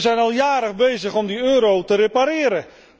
En we zijn al jaren bezig om de euro te repareren.